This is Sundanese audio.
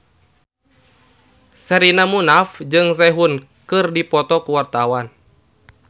Sherina Munaf jeung Sehun keur dipoto ku wartawan